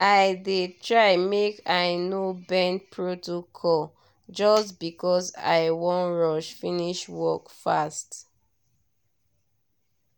i dey try make i no bend protocol just because i wan rush finish work fast.